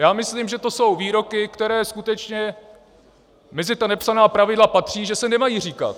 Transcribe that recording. Já myslím, že to jsou výroky, které skutečně mezi ta nepsaná pravidla patří, že se nemají říkat.